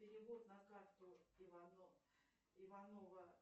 перевод на карту иванова